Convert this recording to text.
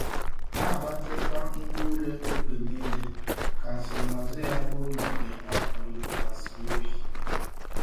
Na-agbatịkwa ngwá ule oge niile ka nsonaazụ ya bụrụ nke a pụrụ ịtụkwasị obi.